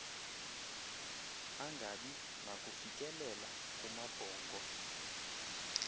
angabi nakufikelela kumabhongo